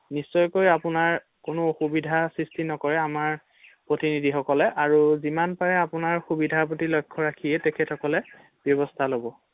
নিশ্চয়কৈ আপোনাৰ কোনো অসুবিধাৰ সৃষ্টি নকৰে আমাৰ প্ৰতিনিধি সকলে আৰু যিমান পাৰে আপোনাৰ সুবিধাৰ প্ৰতি লক্ষ্য ৰাখিয়ে তেখেতসকলে ব্যৱস্হা ল’ব৷